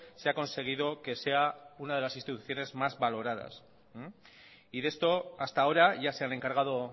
se ha conseguido que sea una de las instituciones más valoradas y de esto hasta ahora ya se han encargado